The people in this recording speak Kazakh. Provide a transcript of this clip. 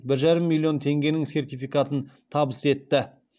бір жарым миллион теңгенің сертификатын табыс етті